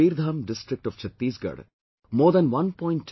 In Kabirdham district of Chhatisgarh more than 1